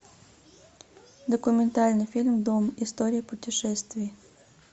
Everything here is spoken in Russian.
документальный фильм дом история путешествий